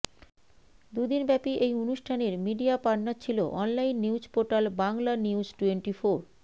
দু দিনব্যাপী এই অনুষ্ঠানের মিডিয়া পার্টনার ছিল অনলাইন নিউজ পোর্টাল বাংলানিউজটোয়েন্টিফোর